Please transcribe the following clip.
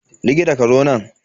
Likita, ka zo nan.